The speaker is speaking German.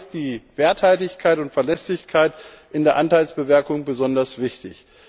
Dafür ist die Werthaltigkeit und Verlässlichkeit in der Anteilsbewertung besonders wichtig.